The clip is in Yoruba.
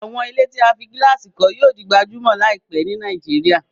Àwọn ilé tí a fí gílàsì kọ́ yíò di gbajúmọ̀ láìpẹ́ ni Nàìjíríà